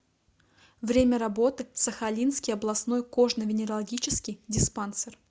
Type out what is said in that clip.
время работы сахалинский областной кожно венерологический диспансер